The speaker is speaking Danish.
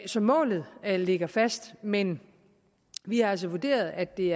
så målet ligger fast men vi har altså vurderet at det